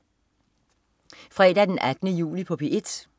Fredag den 18. juli - P1: